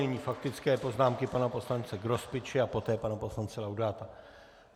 Nyní faktické poznámky pana poslance Grospiče a poté pana poslance Laudáta.